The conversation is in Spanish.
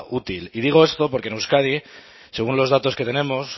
útil y digo esto porque en euskadi según los datos que tenemos